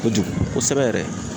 Kojugu kosɛbɛ yɛrɛ.